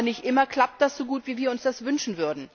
Aber nicht immer klappt das so gut, wie wir es uns wünschen.